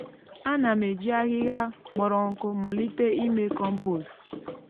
ana m eji ahịhịa kpọrọ nkụ malite ime kọmpost.